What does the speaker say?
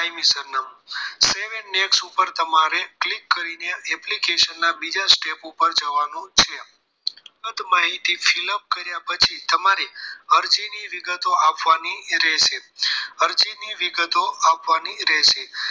ઉપર તમારે click કરી ને application ના બીજા step ઉપર જવાનું છે બધી માહિતી fill up કર્યા પછી તમારે અરજીની વિગતો આપવાની રહેશે અરજીની વિગતો આપવાની રહેશે